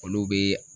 Olu bɛ